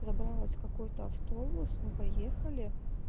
забралась в какой-то автобус мы поехали